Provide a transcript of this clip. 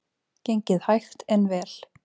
Gengið hægt en vel